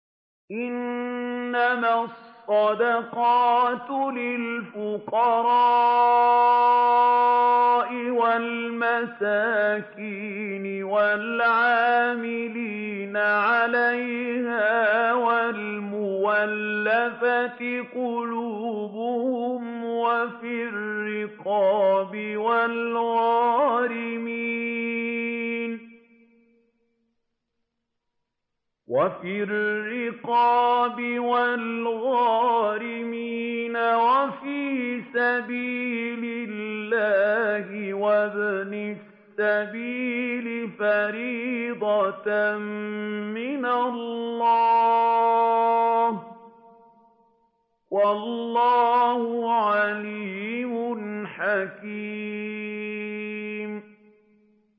۞ إِنَّمَا الصَّدَقَاتُ لِلْفُقَرَاءِ وَالْمَسَاكِينِ وَالْعَامِلِينَ عَلَيْهَا وَالْمُؤَلَّفَةِ قُلُوبُهُمْ وَفِي الرِّقَابِ وَالْغَارِمِينَ وَفِي سَبِيلِ اللَّهِ وَابْنِ السَّبِيلِ ۖ فَرِيضَةً مِّنَ اللَّهِ ۗ وَاللَّهُ عَلِيمٌ حَكِيمٌ